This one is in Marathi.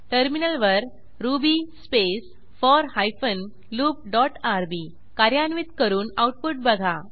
टर्मिनलवर Ruby space four hyphen loop dot rb कार्यान्वित करून आऊटपुट बघा